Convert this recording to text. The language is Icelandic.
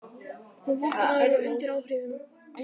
Kom vopnaður og undir áhrifum